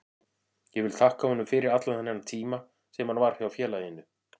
Ég vil þakka honum fyrir allan þennan tíma sem hann var hjá félaginu.